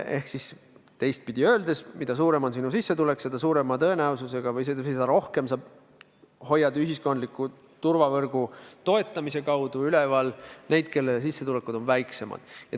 Ehk teistpidi öeldes: mida suurem on sinu sissetulek, seda rohkem sa hoiad ühiskondliku turvavõrgu toetamise kaudu üleval neid, kelle sissetulekud on väiksemad.